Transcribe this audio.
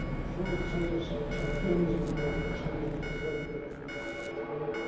Son necesarias sanciones para los responsables de estas graves violaciones de los derechos humanos.